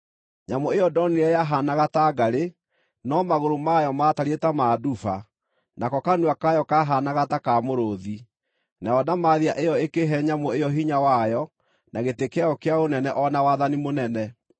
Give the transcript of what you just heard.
Nyamũ ĩyo ndonire yahaanaga ta ngarĩ, no magũrũ mayo maatariĩ ta ma nduba, nako kanua kayo kahaanaga ta ka mũrũũthi. Nayo ndamathia ĩyo ĩkĩhe nyamũ ĩyo hinya wayo na gĩtĩ kĩayo kĩa ũnene o na wathani mũnene.